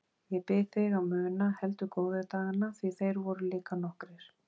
Ég bið þig að muna heldur góðu dagana því þeir voru líka nokkrir.